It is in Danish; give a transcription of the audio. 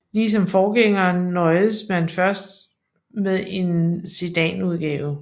Ligesom forgængeren nøjedes man først med en sedanudgave